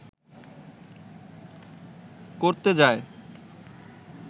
করতে যায়